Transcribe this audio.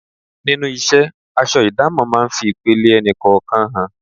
Nínú isẹ́, aṣọ idamo máa ń fi ipele ẹni kọ̀ọ̀kan hàn.